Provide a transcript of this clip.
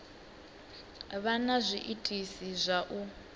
vha na zwiitisi zwa u